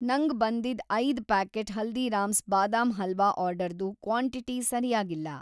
ನಂಗ್‌ ಬಂದಿದ್‌ ಐದು ಪ್ಯಾಕೆಟ್ ಹಲ್ದೀರಾಮ್ಸ್ ಬಾದಾಮ್‌ ಹಲ್ವಾ ಆರ್ಡರ್‌ದು ಕ್ವಾಂಟಿಟಿ ಸರಿಯಾಗಿಲ್ಲ.